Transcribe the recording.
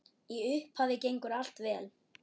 Í upphafi gengur allt vel.